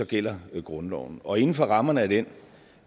gælder grundloven og inden for rammerne af den